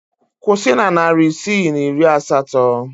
Kwụsị na narị isii na iri asatọ!